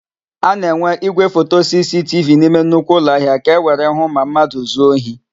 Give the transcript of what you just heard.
A na-enwe ígwéfoto sisitivi n'ime nnukwu ụlọahịa ka ewere hụ ma mmadụ zuo ohi.